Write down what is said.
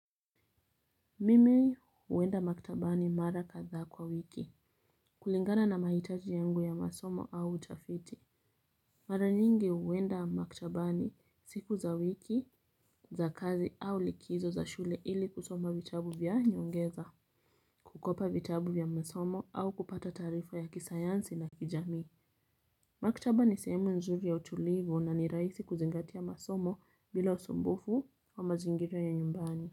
Mimi uwenda maktabani mara kadha kwa wiki kulingana na mahitaji yangu ya masomo au utafiti. Mara nyingi uwenda maktabani siku za wiki za kazi au likizo za shule ili kusoma vitabu vya nyongeza. Kukopa vitabu vya masomo au kupata tarifa ya kisayansi na kijami. Maktaba ni sehemu nzuri ya utulivu na ni raisi kuzingatia masomo bila osumbufu wa mazingira ya nyumbani.